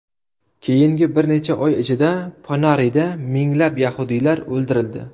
Keyingi bir necha oy ichida Ponarida minglab yahudiylar o‘ldirildi.